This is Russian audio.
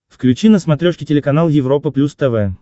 включи на смотрешке телеканал европа плюс тв